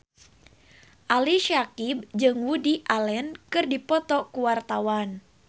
Ali Syakieb jeung Woody Allen keur dipoto ku wartawan